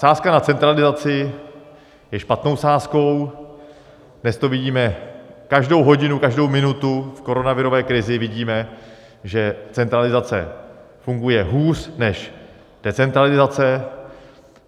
Sázka na centralizaci je špatnou sázkou, dnes to vidíme každou hodinu, každou minutu v koronavirové krizi vidíme, že centralizace funguje hůř než decentralizace.